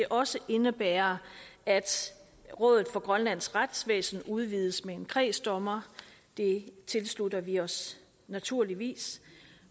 også indebærer at rådet for grønlands retsvæsen udvides med en kredsdommer det tilslutter vi os naturligvis